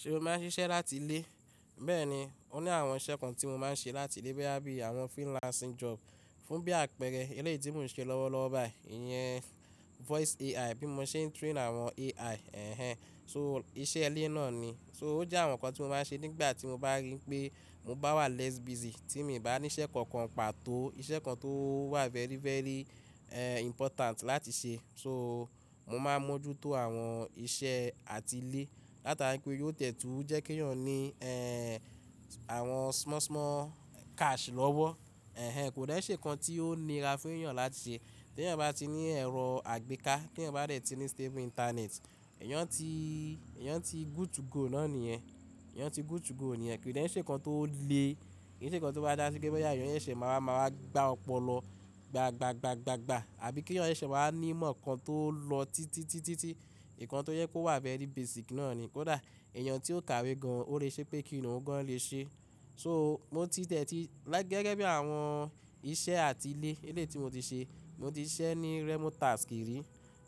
Ṣe mo máa ń ṣiṣẹ́ láti ilé? Bẹ́ẹ̀ni, ó ní àwọn iṣẹ́ kan tí mo máa ń ṣe láti ilé bíi àwọn freelancing job. Fún bí àpẹẹrẹ eléyi tí mò ń ṣe lọ́wọ́ lọ́wọ́ bayìí, ìyẹn Voice AI bí mo ṣe ń train àwọn AI. Ẹ̀hẹn. So iṣẹ́ ilé náà ni. So ó jẹ́ àwọn nǹkan tí mo máa ń ṣe nígbà tí mo bá rí pé mo bá wà less busy tí mi bá ní iṣẹ́ kankan pàtó, iṣẹ́ kan tó wà very, very, ehn, important láti ṣe. So mo máa ń mójútó àwọn iṣẹ́ àtilé látara wípé yóò tẹ̀tú jẹ́ kí èèyàn ní, àwọn small small cash lọ́wọ́. Ẹ̀hẹn, kò dẹ̀ ṣé nǹkan tí ó nira fún èèyàn láti ṣe. Tí èèyàn bá ti ní ẹ̀rọ àgbéká, kí èèyàn bá lè ti ní stable internet, èèyàn ti, èèyàn ti good to go náà nìyẹn. Èèyàn ti good to go nìyẹn. Kin dẹ̀ ṣé nǹkan tó le, kì í ṣe nǹkan tó dá síkẹ́ pé bí àyàn ń ṣe máa ma wá gbá ọpọlọ gbà gbà gbà gbà gbà. Àbí kí èèyàn se ṣe máa ní ìmọ̀ nǹkan tó lọ títí, títí, títí. Ìkan tó yẹ kó wà very basic náà ni. Kódà èèyàn tí ó kàwé gan, ó lè ṣe pé kí iru òun gan-an lè ṣe. So mo ti tẹ̀tì gẹ́gẹ́ bí àwọn iṣẹ́ àtilé, eléyìí tí mo ti ṣe, mo ti ṣiṣẹ́ ní Remotasks ri,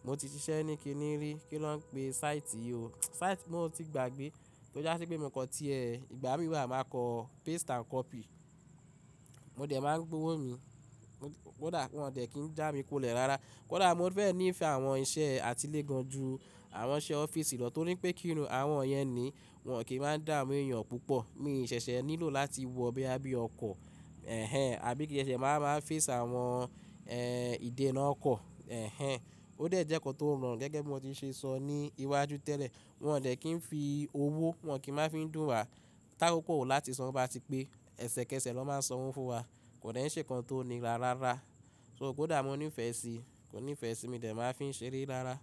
mo ti ṣiṣẹ́ ní kí ni rí, kí ló ń pè site yìí o. Site mo ti gbàgbé tó já sí pé mo kan tí ẹ́, ìgbà mí wà máa kọ paste and copy. Mo dẹ̀ máa ń gbowó mi. Kódà wọ́n dẹ̀ kí ń já mi kùlẹ̀ rara. Kódà mo ti fẹ́ ní ìfẹ àwọn iṣẹ́ àtilé gan ju àwọn iṣẹ́ ọ́fíìsì lọ torí pé kí irun àwọn yẹn ni wọ́n kì í máa ń dáà mú èèyàn púpọ̀. Mi ṣẹ̀ṣẹ̀ nílò láti wọ bóyá, bíi ọkọ̀. Ẹ̀hẹn. Àbí kí n ṣẹ̀ṣẹ̀ máa máa face àwọn, ẹ́n, ìdènà ọkọ̀. Ẹ̀hẹn. Ó dẹ̀ jẹ́ nǹkan tó rọrùn gẹ́gẹ́ bí mo ti ṣe sọ ní iwájú tẹ́lẹ̀. Wọn dẹ̀ kí ń fi owó, wọ́n kì máa fi ń dùn wa. Tákókó láti san wó bá ti pé, ẹsẹ̀kẹsẹ̀ lọ máa ń san owó fún wa. Kò dẹ̀ ṣé ìkan tó nira rárá. So kódà mo ní ìfẹ́ sí, mo ní ìfẹ́ sí, mí dẹ̀ máa fi ń ṣeré rárá.